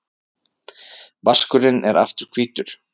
Vaskurinn er aftur hvítur.